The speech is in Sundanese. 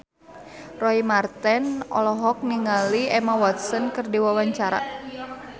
Roy Marten olohok ningali Emma Watson keur diwawancara